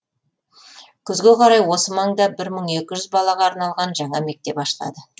күзге қарай осы маңда бір мың екі жүз балаға арналған жаңа мектеп ашылады